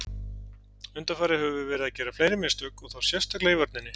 Undanfarið höfum við verið að gera fleiri mistök og þá sérstaklega í vörninni.